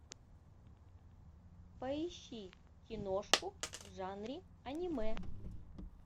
поищи киношку в жанре аниме